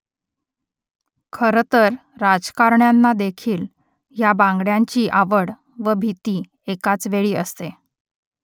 खरं तर राजकारण्यांनादेखील या बांगड्यांची आवड व भीती एकाचवेळी असते